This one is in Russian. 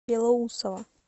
белоусово